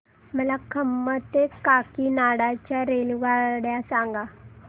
मला खम्मम ते काकीनाडा च्या रेल्वेगाड्या सांगा